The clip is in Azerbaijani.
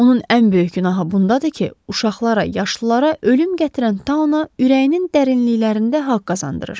Onun ən böyük günahı bundadır ki, uşaqlara, yaşlılara ölüm gətirən tauna ürəyinin dərinliklərində haqq qazandırır.